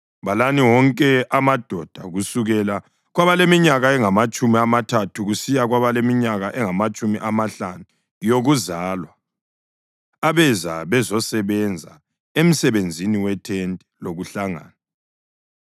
Balani wonke amadoda kusukela kwabaleminyaka engamatshumi amathathu kusiya kwabaleminyaka engamatshumi amahlanu yokuzalwa abeza bezosebenza emsebenzini wethente lokuhlangana.